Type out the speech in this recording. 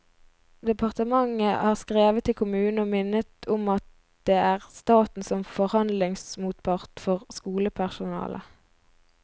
Departementet har skrevet til kommunen og minnet om at det er staten som er forhandlingsmotpart for skolepersonalet.